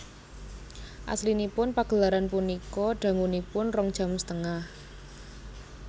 Aslinipun pagelaran punika dangunipun rong jam setengah